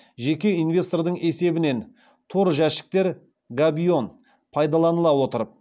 жеке инвестордың есебінен тор жәшіктер пайдаланыла отырып